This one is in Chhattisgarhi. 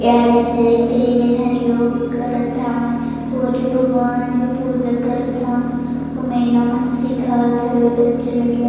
एहरि जे ते मनहरी करत हवय और भगवान के पूजा करत हवय और मैडम ह सिखात ह बच्चे मतल --